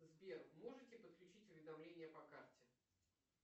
сбер можете подключить уведомления по карте